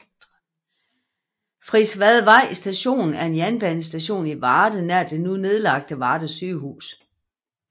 Frisvadvej Station er en jernbanestation i Varde nær det nu nedlagte Varde Sygehus